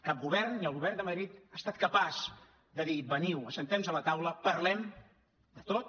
cap govern ni el govern de madrid ha estat capaç de dir veniu asseguem nos a la taula parlem de tot